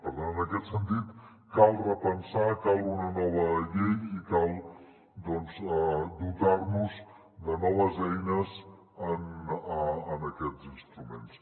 per tant en aquest sentit cal repensar cal una nova llei i cal dotar·nos de noves eines en aquests instruments